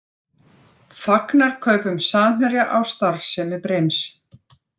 Fagnar kaupum Samherja á starfsemi Brims